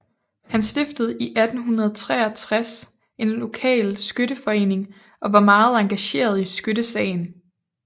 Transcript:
Han stiftede i 1863 en lokal skytteforening og var meget engageret i skyttesagen